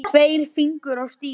Tveir fingur á stýri.